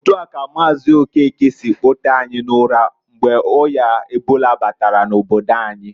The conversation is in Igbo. Otua ka Maazi Okeke si kpotee anyi n'ụra, mgbe o̜ya ebola batara n'obodo anyi.